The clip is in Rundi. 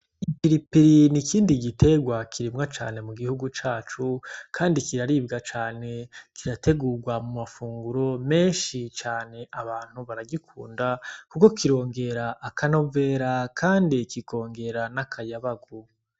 Iipiripirini ikindi giterwa kirimwa cane mu gihugu cacu, kandi kiraribwa cane kirategurwa mu mafunguro menshi cane abantu baragikunda, kuko kirongera akanovera, kandi kikongera n'akayabagu.